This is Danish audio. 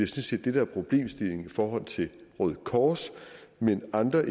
set det der er problemstillingen i forhold til røde kors men andre